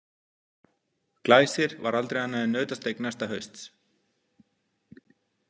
Glæsir var aldrei annað en nautasteik næsta hausts.